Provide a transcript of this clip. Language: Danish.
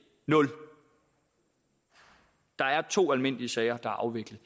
nul der er to almindelige sager der er afviklet